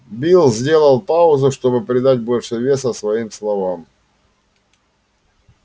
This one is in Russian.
билл сделал паузу чтобы придать больше веса своим словам